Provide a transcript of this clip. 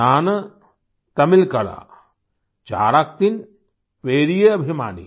नान तमिलकला चाराक्तिन पेरिये अभिमानी